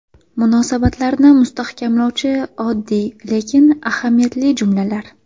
Munosabatlarni mustahkamlovchi oddiy, lekin ahamiyatli jumlalar.